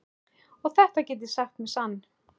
Og þetta get ég sagt með sann.